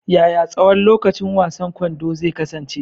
Yaya tsawon lokacin wasan kwando zai kasance?